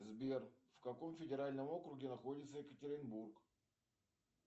сбер в каком федеральном округе находится екатеринбург